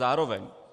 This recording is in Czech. Zároveň.